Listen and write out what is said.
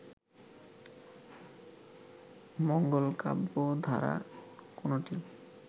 মঙ্গল কাব্য ধারা কোনটি